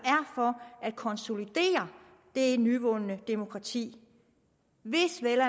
for at konsolidere det nyvundne demokrati hvis vi vel